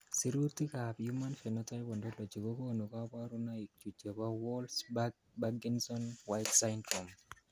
Sirutikab Human Phenotype Ontology kokonu koborunoikchu chebo Wolff Parkinson White syndrome.